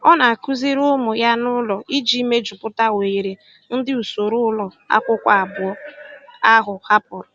Ọ na-akụziri ụmụ ya n'ụlọ iji mejupụta oghere ndị usoro ụlọ akwụkwọ abụọ ahụ hapụrụ.